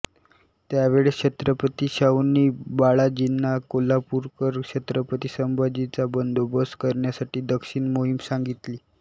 त्यावेळेस छत्रपती शाहूंनी बाळाजींना कोल्हापूरकर छत्रपती संभाजींचा बंदोबस्त करण्यासाठी दक्षिण मोहीम सांगितली